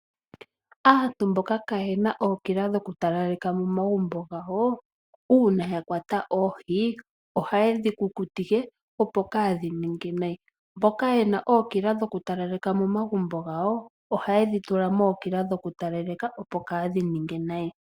Aantu mboka kayena ookila dhoku talaleka momagumbo gawo uuna ya kwata oohi, ohaye dhi kukutike opo kaadhi ninge nayi. Mboka yena ookila dhoku talaleka momagumbo gawo, ohaye dhi tula mookila dhoku talaleka opo kaadhi ninge nayi.